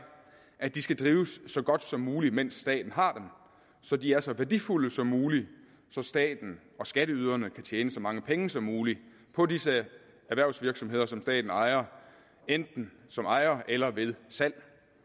at de skal drives så godt som muligt mens staten har dem så de er så værdifulde som muligt så staten og skatteyderne kan tjene så mange penge som muligt på disse erhvervsvirksomheder som staten ejer enten som ejer eller ved salg